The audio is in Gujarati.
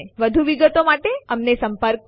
અહીં આ ટ્યુટોરીયલ સમાપ્ત થાય છે